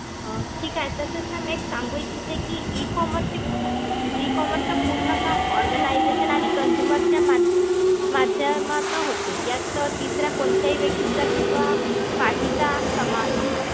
अं ठीक आहे. तसंच Ma'am एक सांगू इच्छिते कि E commerce ची e-commerce चं पूर्ण काम organisation आणि consumer च्या मा~ माध्यमातून होते. यात तिसऱ्या कोणत्याही व्यक्तीचा किंवा party चा समावेश नसतो.